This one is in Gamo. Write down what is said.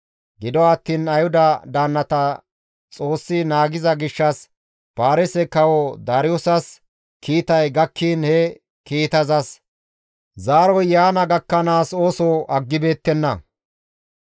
Gido attiin Ayhuda daannata Xoossi naagiza gishshas Paarise kawo Daariyoosas kiitay gakkiin he kiitazas zaaroy yaana gakkanaas ooso aggibeettenna.